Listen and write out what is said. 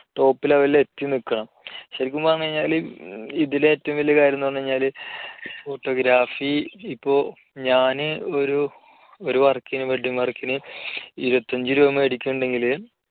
top level ൽ എത്തിനിൽക്കുക ശരിക്കും പറഞ്ഞാല് ഇതിലെ ഏറ്റവും വലിയ കാര്യം എന്ന് പറഞ്ഞാല് photography ഇപ്പോ ഞാൻ ഒരു work ന് വേണ്ടി ഒരു work ന് ഇരുപത്തി അഞ്ച് രൂപ മേടിക്കുന്നുണ്ടെങ്കില്